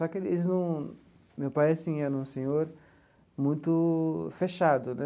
Só que eles num... Meu pai, assim, era um senhor muito fechado, né?